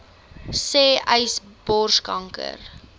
sê uys borskanker